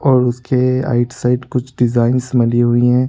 और उसके right side कुछ डिजाईन्स बनी हुई हैं।